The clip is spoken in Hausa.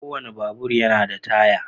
Kowane babur yana da taya.